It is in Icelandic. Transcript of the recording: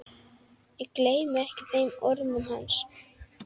Ég gleymi ekki þeim orðum hans.